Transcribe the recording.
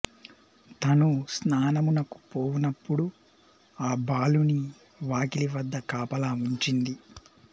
తను స్నానమునకు పోవునపుడు ఆ బాలుని వాకిలి వద్ద కాపలా ఉంచింది